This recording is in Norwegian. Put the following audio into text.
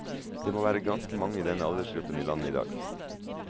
Det må være ganske mange i denne aldersgruppen i landet i dag.